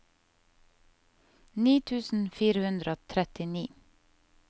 ni tusen fire hundre og trettini